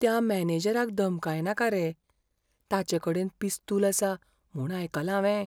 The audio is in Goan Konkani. त्या मॅनेजराक धमकायनाका रे. ताचेकडेन पिस्तूल आसा म्हूण आयकलां हावें.